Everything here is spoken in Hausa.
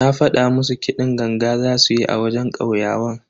Na fada musu kiɗin ganga zasu yi a wajen kauyawan.